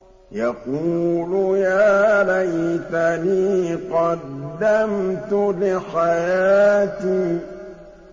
يَقُولُ يَا لَيْتَنِي قَدَّمْتُ لِحَيَاتِي